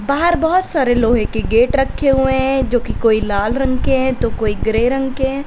बाहर बोहोत सारे लोहे के गेट रखे हुए हैं जो कि कोई लाल रंग के हैं तो कोई ग्रे रंग के हैं।